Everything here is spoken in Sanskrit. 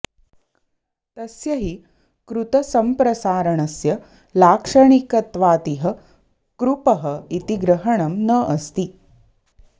तस्य हि कृतसम्प्रसारणस्य लाक्षणिकत्वातिह कृपः इति ग्रहणं न अस्ति